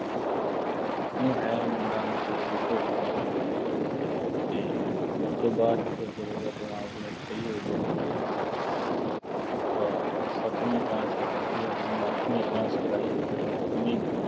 ਊਂ ਹੈ ਮੁੰਡਾ ਮਤਲਬ ਬਈ ਭੋਲਾ ਉਹ ਅਤੇ ਉਸ ਤੋਂ ਬਾਅਦ ਚ ਫੇਰ ਜਦੋਂ ਉਹਦਾ ਦਿਮਾਗ-ਦਿਮੂਗ ਸਹੀ ਹੋ ਗਿਆ ਅਤੇ ਫੇਰ ਉਹਨੂੰ ਅਹ ਸੱਤਵੀਂਂ class ਚ ਛੱਡ ਆਇਆ ਸੀ, ਫੇਰ ਉਹਨੂੰ ਅੱਠਵੀਂ class ਕਰਾਈ, ਫੇਰ ਉਹਨੂੰ ਨੌਂਵੀਂ